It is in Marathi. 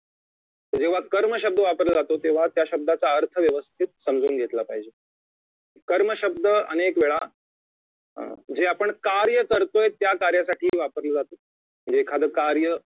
जेव्हा कर्म शब्द वापरला जातो तेव्हा त्या शब्दाचा अर्थ व्यवस्थित समजून घेतला पाहिजे कर्म शब्द अनेकवेळा जे आपण कार्य करतोय त्या कार्यासाठी वापरलं जात म्हणजे एखादं कार्य